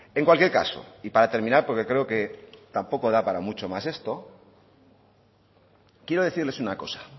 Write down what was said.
en cualquier caso y para terminar porque creo que tampoco da para mucho más esto quiero decirles una cosa